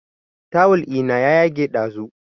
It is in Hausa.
Tawul ina ya yage ɗazu